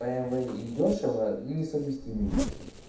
бмв и дёшево несовместимые вещи